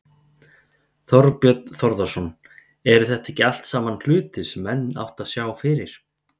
Þorbjörn Þórðarson: Eru þetta ekki allt saman hlutir sem menn áttu að sjá fyrir?